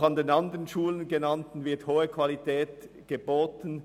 Auch an den anderen genannten Schulen wird eine hohe Qualität geboten.